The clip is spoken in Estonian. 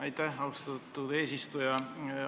Aitäh, austatud eesistuja!